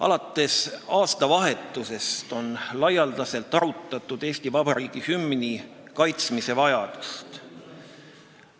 Alates aastavahetusest on laialdaselt arutatud Eesti Vabariigi hümni kaitsmise vajadust.